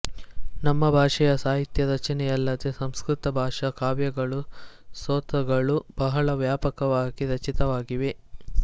ನಮ್ಮ ಭಾಷೆಯ ಸಾಹಿತ್ಯ ರಚನೆಯಲ್ಲದೆ ಸಂಸ್ಕೃತ ಭಾಷಾ ಕಾವ್ಯಗಳು ಸ್ತೋತ್ರಗಳು ಬಹಳ ವ್ಯಾಪಕವಾಗಿ ರಚಿತವಾಗಿವೆ